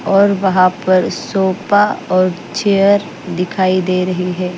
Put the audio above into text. और वहां पर सोपा और चेयर दिखाई दे रही है।